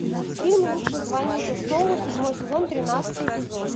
фильм лучше звоните солу седьмой сезон тринадцатый эпизод